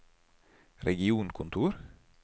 regionkontor